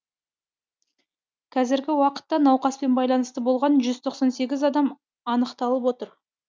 қазіргі уақытта науқаспен байланыста болған жүз тоқсан сегіз адам анықталып отыр